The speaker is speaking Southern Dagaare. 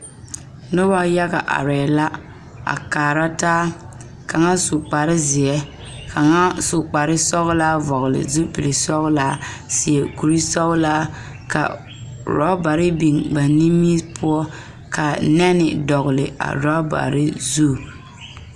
Noba yaga arɛɛ la a kaara taa kaŋa su kpar zeɛ kaŋa su kpar sɔgelaa vɔgele zupili sɔgelaa a seɛ kure sɔgelaa ka orubare biŋ ba niŋe poɔ ka nɛne dɔgele a orɔbare zu